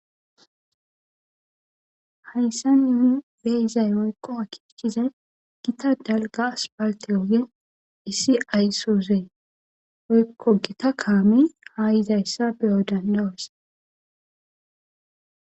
Haysan nuuni be'izay woyko aakekizay issi asfalte ogen issi aysuze woyko gita kaame ha yizaysa be'o danda'os.